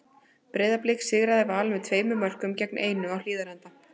Breiðablik sigraði Val með tveimur mörkum gegn einu á Hlíðarenda.